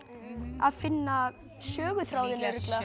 að finna söguþráðinn